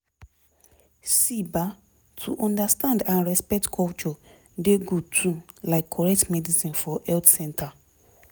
see ba to understand and respect culture dey good too like correct medicine for health center